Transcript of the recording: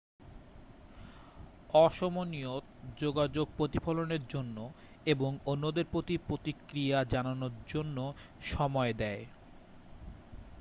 অসমনিয়ত যোগাযোগ প্রতিফলনের জন্য এবং অন্যদের প্রতি প্রতিক্রিয়া জানানোর জন্য সময় দেয়